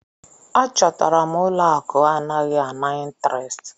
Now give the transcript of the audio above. A chọtara m ụlọ akụ anaghị ana intirest.